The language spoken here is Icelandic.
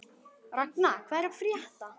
Ragna, hvað er að frétta?